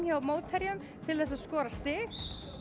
hjá mótherjum til þess að skora stig